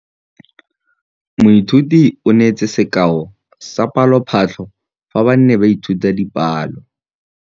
Moithuti o neetse sekaô sa palophatlo fa ba ne ba ithuta dipalo.